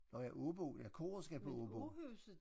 Nåh ja Aabo ja koret skal på Aabo